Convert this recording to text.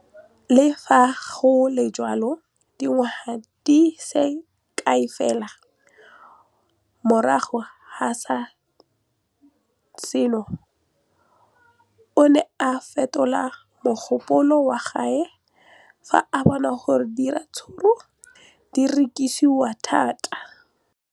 Le fa go le jalo, dingwaga di se kae fela morago ga seno, o ne a fetola mogopolo wa gagwe fa a bona gore diratsuru di rekisiwa thata.